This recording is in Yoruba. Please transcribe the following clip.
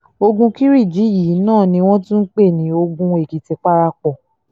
ogun kiriji yìí náà ni wọ́n tún ń pè ní ogun èkìtì parapọ̀